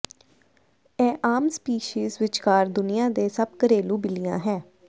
ਇਹ ਆਮ ਸਪੀਸੀਜ਼ ਵਿਚਕਾਰ ਦੁਨੀਆ ਦੇ ਸਭ ਘਰੇਲੂ ਬਿੱਲੀਆ ਹੈ